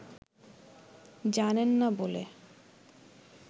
জানেন না বলে